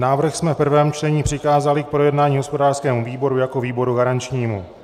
Návrh jsme v prvém čtení přikázali k projednání hospodářskému výboru jako výboru garančnímu.